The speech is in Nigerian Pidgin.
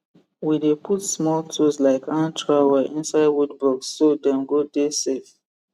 we dey put small tools like hand trowel inside wood box so dem go dey safe